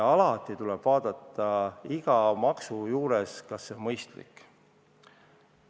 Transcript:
Alati tuleb iga maksu puhul mõelda, kas see on mõistlik.